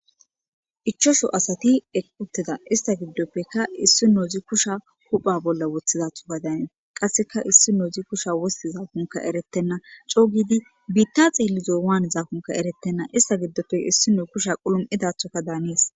Ichashu asati eqi utida eeta gidoppe issinozi kusha hupha bolla wothidathoka daanees. Qasseka issinozi kusha wostizakonika eretena,c'oo gidi bita xelizo waanizo eretena ista gidope issnozi kusha qalam'idathoka daanees.